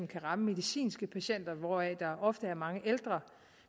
kan ramme medicinske patienter hvoraf der ofte er mange ældre